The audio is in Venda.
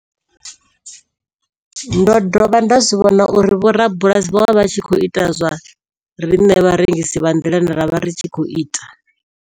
Ndo dovha nda zwi vhona uri vhorabulasi vho vha vha tshi khou ita zwa riṋe vharengisi vha nḓilani ra vha ri tshi khou ita.